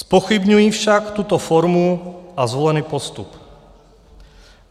Zpochybňuji však tuto formu a zvolený postup.